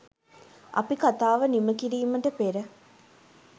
අපි කතාව නිම කිරීමට පෙර